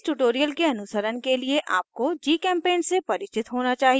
इस tutorial के अनुसरण के लिए आपको gchempaint से परिचित होना चाहिये